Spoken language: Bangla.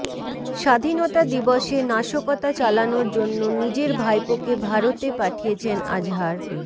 স্বাধীনতা দিবসে নাশকতা চালানোর জন্য নিজের ভাইপোকে ভারতে পাঠিয়েছেন আজহার